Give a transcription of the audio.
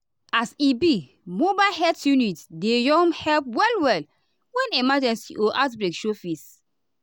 as e be mobile health unit deyum help well-well when emergency or outbreak show face.